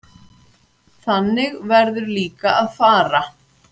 Þannig verður líka að fara.